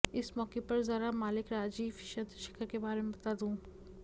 इस मौक़े पर ज़रा मालिक राजीव चंद्रशेखर के बारे में बता दूं